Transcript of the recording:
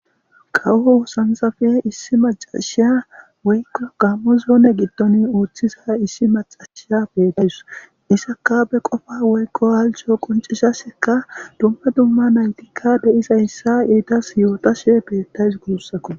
kawo hoosanzafe issi macashiya woykko gammo zoone gitton uuththiza issi macashiya betays isaka be qofa woykko alco qoncishaseka dumma dumma naytikka deizayssa yeetas yootashe beettays guussako